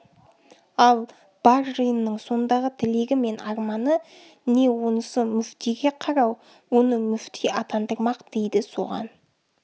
ал бар жиынның сондағы тілегі мен арманы не онысы мүфтиге қарау оны мүфти атандырмақ дейді соған